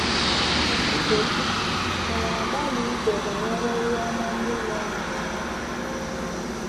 Nkechi: M na - agbalị iche banyere ihe ọma ndị meere m ná ndụ.